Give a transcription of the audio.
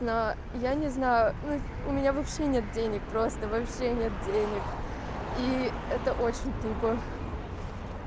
но я не знаю ну у меня вообще нет денег просто вообще нет денег и это очень тупо